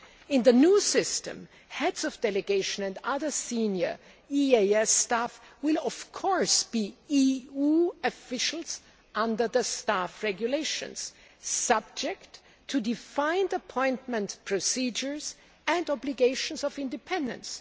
In the new system, heads of delegation and other senior EEAS staff will be EU officials under the Staff Regulations, subject to defined appointment procedures and obligations of independence.